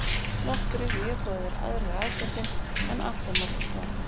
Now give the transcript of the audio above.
Nokkrir mjög góðir aðrir ágætir en alltof margir slakir.